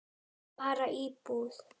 Bara íbúð.